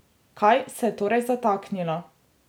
Kje se je torej zataknilo?